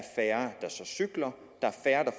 cykler